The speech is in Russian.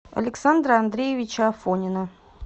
александра андреевича афонина